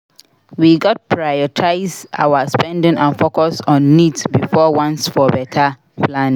We gats prioritize our spending and focus on needs before wants for beta planning.